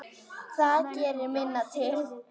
Það gerir minna til.